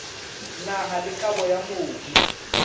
naha le kabo ya mobu